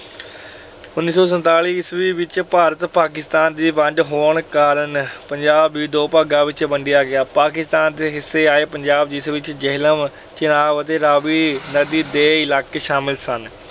ਉਨੀ ਸੌ ਸੰਤਾਲੀ ਈਸਵੀ ਵਿਚ ਭਾਰਤ-ਪਾਕਿਸਤਾਨ ਦੀ ਵੰਡ ਹੋਣ ਕਾਰਨ ਪੰਜਾਬ ਵੀ ਦੋ ਭਾਗਾਂ ਵਿਚ ਵੰਡਿਆ ਗਿਆ। ਪਾਕਿਸਤਾਨ ਦੇ ਹਿੱਸੇ ਆਏ ਪੰਜਾਬ ਜਿਸ ਵਿਚ ਜੇਹਲਮ, ਚਿਨਾਬ ਅਤੇ ਰਾਵੀ ਨਦੀ ਦੇ ਇਲਾਕੇ ਸ਼ਾਮਲ ਸਨ,